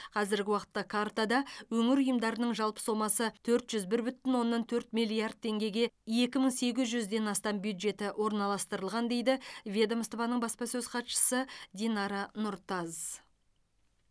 қазіргі уақытта картада өңір ұйымдарының жалпы сомасы төрт жүз бір бүтін оннан төрт миллард теңгеге екі мың сегіз жүзден астам бюджеті орналастырылған дейді ведомствоның баспасөз хатшысы динара нұртаз